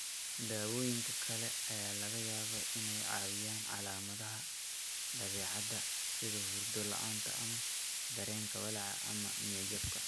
Daawooyinka kale ayaa laga yaabaa inay caawiyaan calaamadaha dabeecadda, sida hurdo la'aanta ama dareenka walaac ama niyad jab.